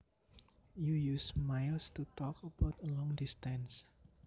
You use miles to talk about a long distance